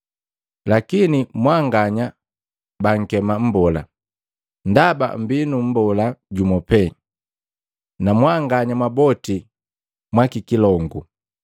Lakini mwanganya baankema ‘Mbola,’ ndaba mmbii nu mbola jumu pee, nu mbanganya mwaboti mwa kikilongu.